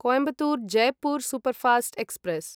Coimbatore Jaipur superfast express